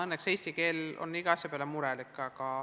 Õnneks on eesti keel iga asja peale murelik.